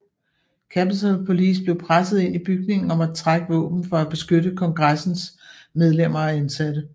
Capitol Police blev presset ind i bygningen og måtte trække våben for at beskytte kongressens medlemmer og ansatte